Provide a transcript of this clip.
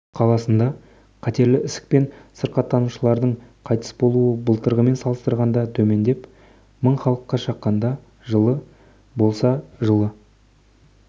қаласында қатерлі ісікпен сырқаттанушылардың қайтыс болуы былтырғымен салыстырғанда төмендеп мың халыққа шаққанда жылы болса жылы